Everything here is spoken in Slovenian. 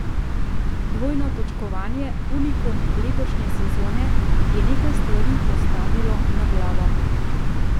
Dvojno točkovanje, unikum letošnje sezone, je nekaj stvari postavilo na glavo.